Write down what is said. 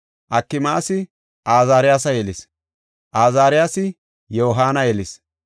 Akimaasi Azaariyasa yelis; Azaariyasi Yohaana yelis;